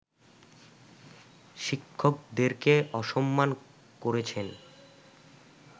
শিক্ষকদেরকে অসম্মান করেছেন